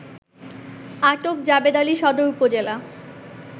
আটক জাবেদআলী সদর উপজেলা